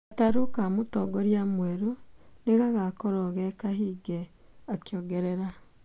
"Gatarũ ka mũtongoria mwerũ nĩ gagakorũo gĩ kahinge ", akĩongerera.